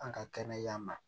An ka kɛnɛya ma